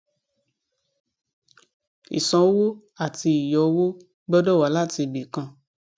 ìsanwó àti ìyọ owó gbọdọ wá láti ibi kan